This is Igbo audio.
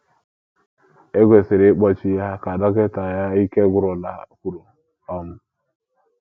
‘ E kwesịrị ịkpọchi ya, ’ ka dọkịta ya ike gwụrụla kwuru. um